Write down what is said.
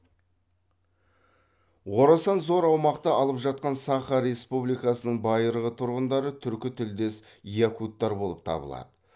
орасан зор аумақты алып жатқан саха республикасының байырғы тұрғындары түркі тілдес якуттар болып табылады